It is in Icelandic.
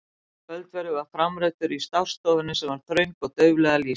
Kvöldverður var framreiddur í stássstofunni sem var þröng og dauflega lýst.